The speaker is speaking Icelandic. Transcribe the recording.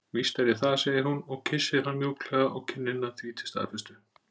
Víst er ég það, segir hún og kyssir hann mjúklega á kinnina því til staðfestu.